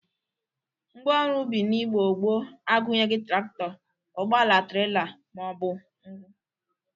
Ngwa ọrụ ubi n'Igbo gboo agụnyeghi trakịtọ, ụgbọala trela ma ọ bụ ngwụ.